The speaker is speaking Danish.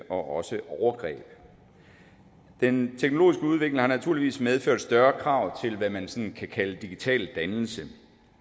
også overgreb den teknologiske udvikling har naturligvis medført større krav til hvad man sådan kan kalde digital dannelse